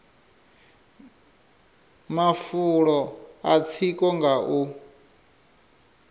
mafulo a tsiko nga u